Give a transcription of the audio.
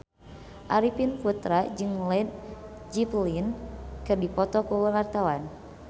Arifin Putra jeung Led Zeppelin keur dipoto ku wartawan